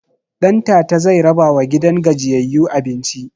Ɗantata zai rabawa gidan gajiyayyu abinci